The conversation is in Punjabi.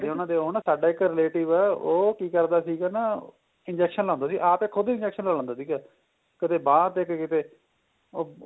ਉਹ ਨਾ ਸਾਡਾ ਇੱਕ relative ਏ ਉਹ ਕੀ ਕਰਦਾ ਸੀਗਾ ਨਾ injection ਲਾਂਦਾ ਸੀ ਆਪ ਹੀ ਖੁਦ ਹੀ injection ਲਗਾ ਲੈਂਦਾ ਸੀਗਾ ਕਦੇ ਬਾ ਤੇ ਕੀ ਕੀਤੇ ਉਹ